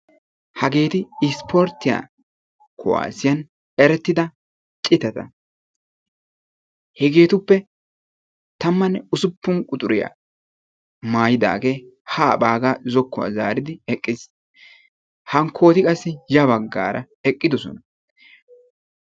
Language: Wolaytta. Hageeti issporttiya kuwasiyan erettida citata. Hegeetuppe tammane ussupun quxuriya maayidage ha bagga zokuwaa zaaridi eqqiis. Hankkoti qassi ya baggaara eqqidosona.